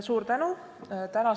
Suur tänu!